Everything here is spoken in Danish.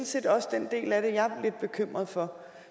set også den del af det jeg er lidt bekymret for